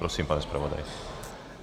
Prosím, pane zpravodaji.